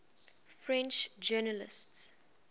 french journalists